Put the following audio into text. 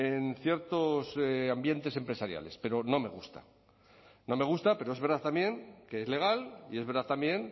en ciertos ambientes empresariales pero no me gusta no me gusta pero es verdad también que es legal y es verdad también